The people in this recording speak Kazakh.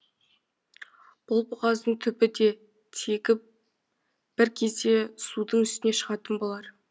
бұл бұғаздың түбі де тегі бір кезде судың үстіне шығатын болар